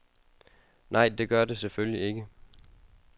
Nej, det gør det selvfølgelig ikke.